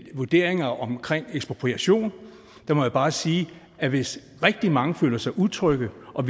vurderinger omkring ekspropriation der må jeg bare sige at hvis rigtig mange føler sig utrygge og